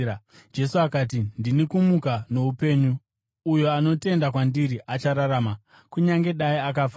Jesu akati kwaari, “Ndini kumuka noupenyu. Uyo anotenda kwandiri achararama, kunyange dai akafa;